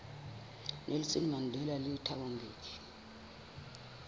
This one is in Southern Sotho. nelson mandela le thabo mbeki